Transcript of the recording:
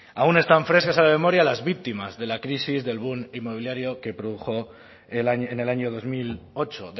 aún están frescas en la memoria las víctimas de la crisis del boom inmobiliario que produjo en el año dos mil ocho